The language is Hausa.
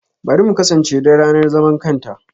Bari mu kasance don ranar zaman kanta!